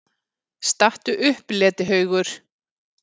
STATTU UPP, LETIHAUGUR!